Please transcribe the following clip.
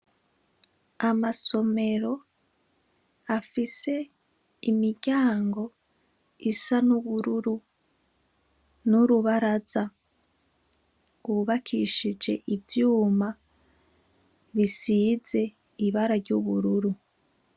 Amasomero, afise, imiryango isa n’ubururu ,n ‘urubaraza rw’ubakishije ivyuma ,bisize ibara ry’ubururu.